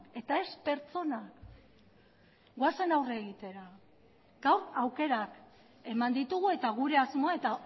eta ez pertsona goazen aurre egitera gaur aukerak eman ditugu eta gure asmoa eta